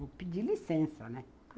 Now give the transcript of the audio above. Vou pedir licença, né?